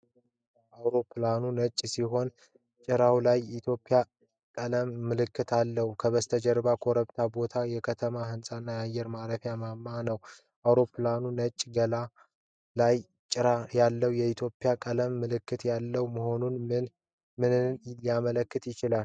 አውሮፕላኑ ነጭ ሲሆን ጭራው ላይ የኢትዮጵያ ቀለማት ምልክት አለው። ከበስተጀርባ ኮረብታማ ቦታዎች፣ የከተማ ሕንፃዎች እና የአየር ማረፊያ ማማ ነው። አውሮፕላኑ ነጭ ገላው ላይና ጭራው ላይ የኢትዮጵያ ቀለማት ምልክት ያለው መሆኑ ምንን ሊያመለክት ይችላል?